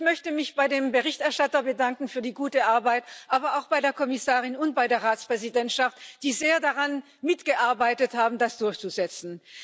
Ich möchte mich beim Berichterstatter für die gute Arbeit bedanken, aber auch bei der Kommissarin und bei der Ratspräsidentschaft, die sehr daran mitgearbeitet haben, das durchzusetzen.